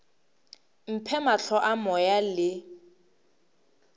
mphe mahlo a moya le